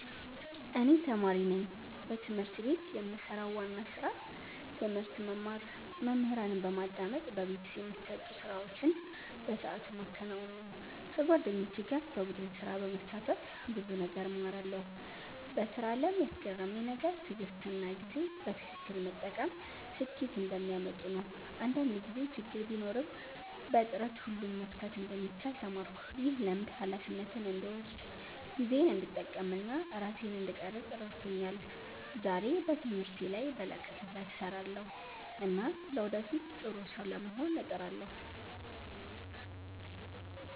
እኔ ተማሪ ነኝ። በትምህርት ቤት የምሰራው ዋና ስራ ትምህርት መማር፣ መምህራንን በማዳመጥ በቤት የሚሰጡ ስራዎችን በሰዓቱ ማከናወን ነው። ከጓደኞቼ ጋር በቡድን ስራ በመሳተፍ ብዙ ነገር እማራለሁ። በስራ አለም ያስገረመኝ ነገር ትዕግሥትና ጊዜን በትክክል መጠቀም ስኬት እንደሚያመጡ ነው። አንዳንድ ጊዜ ችግር ቢኖርም በጥረት ሁሉን መፍታት እንደሚቻል ተማርኩ። ይህ ልምድ ሃላፊነትን እንድወስድ፣ ጊዜዬን እንድጠቀም እና ራሴን እንድቀርፅ ረድቶኛል። ዛሬ በትምህርቴ ላይ በላቀ ትጋት እሰራለሁ እና ለወደፊት ጥሩ ሰው ለመሆን እጥራለሁ።